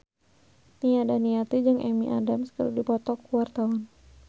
Nia Daniati jeung Amy Adams keur dipoto ku wartawan